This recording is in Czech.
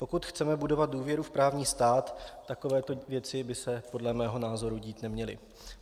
Pokud chceme budovat důvěru v právní stát, takovéto věci by se podle mého názoru dít neměly.